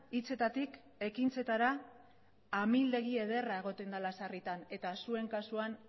hitzetatik ekintzetara amildegi ederra egoten dela sarritan eta zuen kasuan